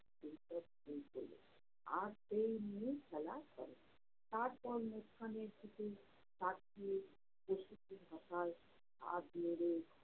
আর সেই নিয়ে খেলা করে। তারপর মুসকানের দিকে তাকিয়ে হাত নেড়ে